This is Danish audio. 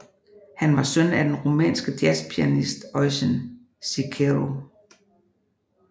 Han var søn af den rumænske jazzpianist Eugen Cicero